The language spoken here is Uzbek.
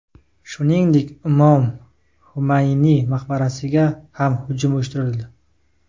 Shuningdek, Imom Xumayniy maqbarasiga ham hujum uyushtirildi.